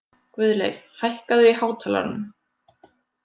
Guðleif, hækkaðu í hátalaranum.